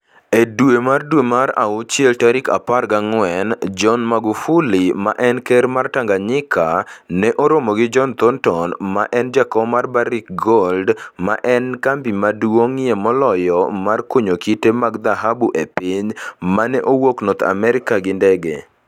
E dwe mar dwe mar awuchiel tarik 14, John Magufuli, ma en ker mar Tanganyika, ne oromo gi John Thornton, ma en jakom mar Barrick Gold - ma en kambi maduong'ie moloyo mar kunyo kite mag dhahabu e piny - ma ne owuok North America gi ndege.